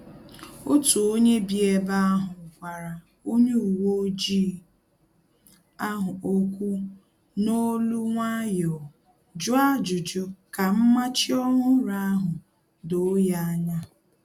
Otu onye bi ebe ahu gwara onye uwe ojii ahụ okwu n'olu nwayọọ, jụọ ajụjụ ka mmachi ọhụrụ ahụ doo ya anya